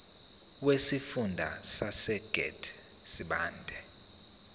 wesifunda sasegert sibande